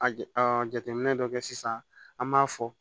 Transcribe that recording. A jateminɛ dɔ kɛ sisan an b'a fɔ